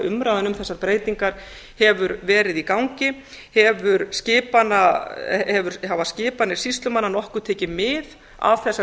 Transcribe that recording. umræðan um þessar breytingar hefur verið í gangi hafa skipanir sýslumanna nokkuð tekið mið af þessari